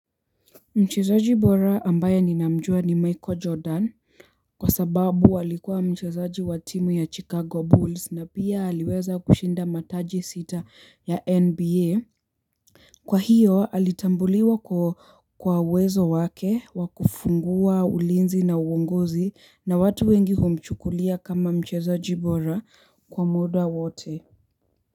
Mchezoji bora ambaye ninamjua ni Michael Jordan kwa sababu alikuwa mchezaji wa timu ya Chicago Bulls na pia aliweza kushinda mataji sita ya NBA. Kwa hiyo, ali tambuliwa kwa uwezo wake wa kufungua ulinzi na uonguzi na watu wengi humchukulia kama mchezojibora kwa muda wote.